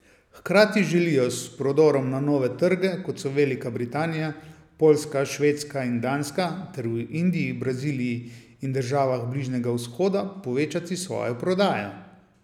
Hkrati želijo s prodorom na nove trge, kot so Velika Britanija, Poljska, Švedska in Danska ter v Indiji, Braziliji in državah Bližnjega vzhoda povečati svojo prodajo.